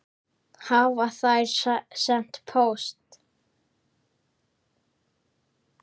Hafa þær sent póst?